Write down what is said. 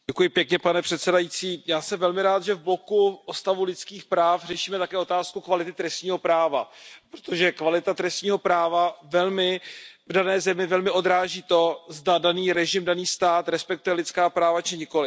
Pane předsedající, já jsem velmi rád, že v bloku o stavu lidských práv řešíme také otázku kvality trestního práva, protože kvalita trestního práva v dané zemi velmi odráží to, zda daný režim, daný stát respektuje lidská práva či nikoliv.